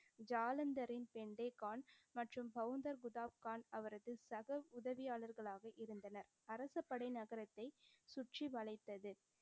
ஜாலந்தரின் பிண்டே கான் மற்றும் கான் அவரது சக உதவியாளர்களாக இருந்தனர். அரசுப்படை நகரத்தைச் சுற்றி வளைத்தது.